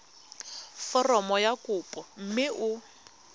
foromo ya kopo mme o